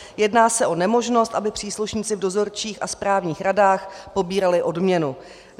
Jedná se o nemožnost, aby příslušníci v dozorčích a správních radách pobírali odměnu.